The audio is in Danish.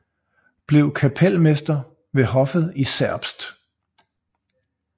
Blev kapelmester ved hoffet i Zerbst